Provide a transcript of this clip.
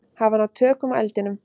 Hafa náð tökum á eldinum